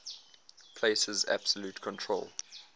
places absolute control